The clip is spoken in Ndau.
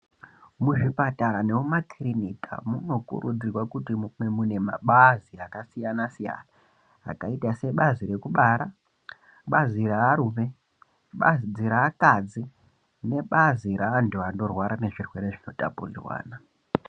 Muzvipatara nemuma kirinika muno kurudzirwa kuti munge mune mapazi akasiyana siyana akaita sebazi rekubara bazi rearume, bazi reakadzi nebazi reantu anorwara ngezvirwere zvino tapurirwana.